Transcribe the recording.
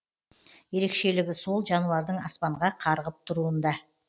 ерекшелігі сол жануардың аспанға қарғып тұруында